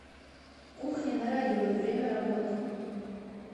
кухня на районе время работы